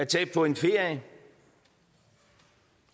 tage på en ferie